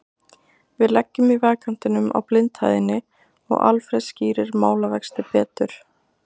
Við leggjum í vegkantinum á blindhæðinni og Alfreð skýrir málavexti betur.